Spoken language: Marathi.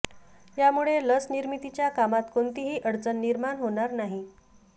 यामुळे लस निर्मितीच्या कामात कोणतीही अडचण निर्माण होणार नाही